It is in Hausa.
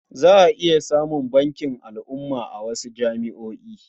Za a iya samun bankin al'umma a wasu jami'o'i.